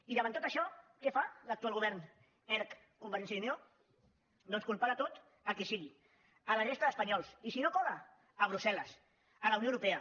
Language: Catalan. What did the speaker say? i davant tot això què fa l’actual govern erc convergència i unió doncs culpar de tot a qui sigui la resta d’espanyols i si no cola brussel·les la unió europea